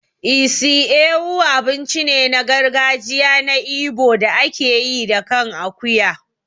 Isi Ewu abinci ne na gargajiya na Igbo da ake yi da kan akuya.